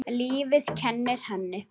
Lífið kennir henni.